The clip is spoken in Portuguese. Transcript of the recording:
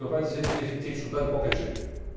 Meu pai dizia que a gente tinha que estudar de qualquer jeito.